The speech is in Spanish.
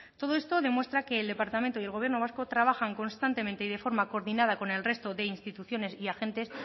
todo esto demuestra que el departamento y el gobierno vasco trabajan constantemente y de forma coordinada con el resto de instituciones y agentes